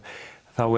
þá